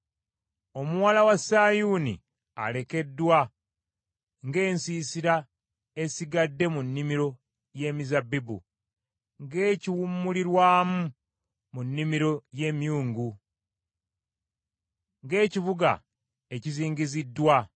Omuwala wa Sayuuni alekeddwa ng’ensiisira esigadde mu nnimiro y’emizabbibu, ng’ekiwummulirwamu mu nnimiro y’emyungu , ng’ekibuga ekizingiziddwa.